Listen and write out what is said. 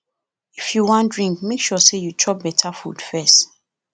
if you wan drink make sure say you chop beta food first